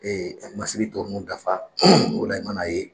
ka masiri tɔ ninnu dafa o la e mana ye